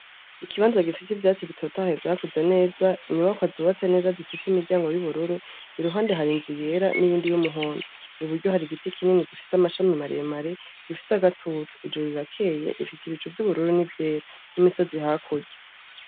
Ikibanza gifise ivyatsi bitotahaye vyakuze neza. Inyubakwa zubatse neza zifise imiryango y'ubururu. Iruhande, har ' inzu yera n'iyindi y'umuhondo .Iburyo, hari igiti kinini gifise amashami maremare, gifise agatutu . Ijuru rirakeye rifise ibicu vy'ubururu n'ivyera, n'imisozi hakurya.